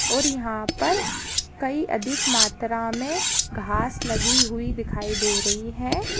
और यहाँ पर कही अधिक मात्रा में घास लगी हुई दिखाई दे रही है।